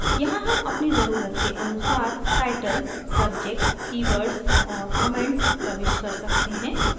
यहाँ हम अपनी ज़रुरत के अनुसार title subject keywords और comments प्रविष्ट कर सकते हैं